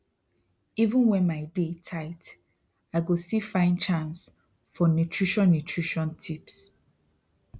even when my day tight i go still find chance for nutrition nutrition tips